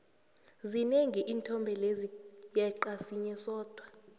zinengi iinthombe lezi yeqa sinye sodwa